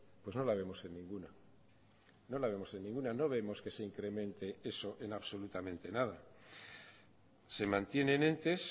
pues no la vemos en ninguna no la vemos en ninguna no vemos que se incremente eso en absolutamente nada se mantienen entes